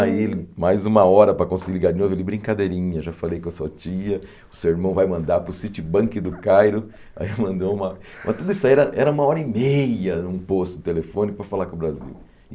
Aí ele, mais uma hora para conseguir ligar de novo, eu falei, brincadeirinha, já falei com a sua tia, o seu irmão vai mandar para o Citibank do Cairo, aí mandou uma... Mas tudo isso aí era uma hora e meia num posto de telefone para falar com o Brasil.